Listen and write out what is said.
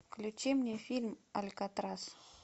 включи мне фильм алькатрас